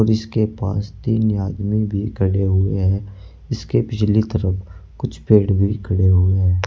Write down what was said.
इसके पास तीन आदमी भी खड़े हुए हैं इसके पिछली तरफ कुछ पेड़ भी खड़े हुए हैं।